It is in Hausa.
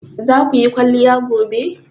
Zaku yi kwaliya gobe?